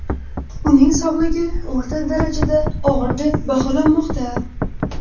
Uning sog‘lig‘i o‘rta darajada og‘ir deb baholanmoqda.